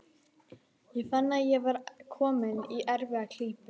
Ég fann að ég var kominn í erfiða klípu.